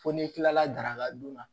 Fo n'i kilala daraka dun na